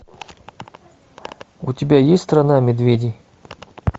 у тебя есть страна медведей